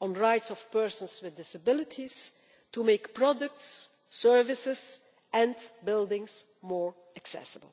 on the Rights of Persons with Disabilities, to making products, services and buildings more accessible.